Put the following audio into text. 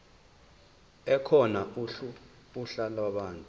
ekhona uhla lwabantu